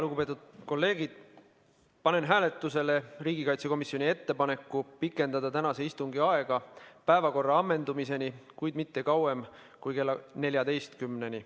Lugupeetud kolleegid, panen hääletusele riigikaitsekomisjoni ettepaneku pikendada tänase istungi aega päevakorra ammendumiseni, kuid mitte kauemaks kui kella 14-ni.